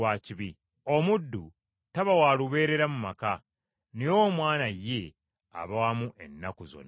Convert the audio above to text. Omuddu taba wa lubeerera mu maka, naye omwana ye, aba waamu ennaku zonna.